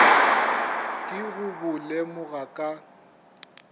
ke go bo lemoga ka